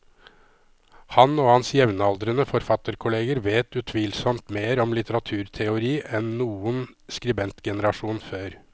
Han og hans jevnaldrende forfatterkolleger vet utvilsomt mer om litteraturteori enn noen skribentgenerasjon før.